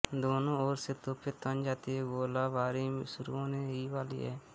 दोनों ओर से तोपें तन जाती हैं गोलाबारी शुरू होने ही वाली है